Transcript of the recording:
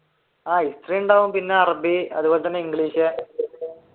history ഉണ്ടാവും പിന്നെ അറബി അതുപോലെ തന്നെ ഇംഗ്ലീഷ്